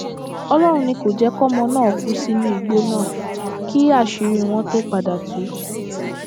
ọlọrun ni kò sì jẹ kọmọ náà kú sínú igbó náà kí àṣírí wọn tóó padà tu